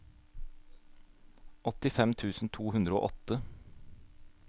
åttifem tusen to hundre og åtte